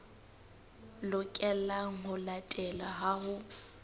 lokelang ho latelwa ha ho